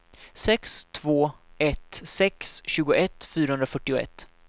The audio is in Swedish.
sex två ett sex tjugoett fyrahundrafyrtioett